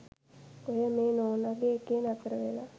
ඔය මේ නෝනගෙ එකේ නතරවෙලා